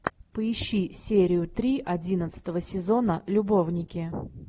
поищи серию три одиннадцатого сезона любовники